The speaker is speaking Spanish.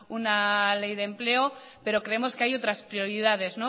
una ley de empleo pero creemos que hay otras prioridades